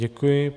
Děkuji.